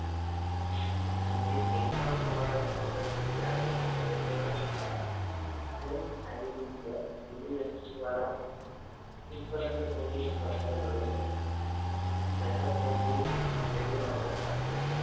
तुमची income तुम्हाला check वर किती आकडे टाकायचे तर ठरू शकता पण as it is पण तुम्हाला कुठं पर्यंत तुम्ही स्वतःला घडवू शकता नंतर तुमची बुद्धिमत्ता चाचणी